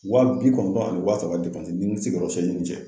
Wa bi kɔnɔntɔn ani wa saba n'i sigi kɔrɔsiɲɛni tɛ.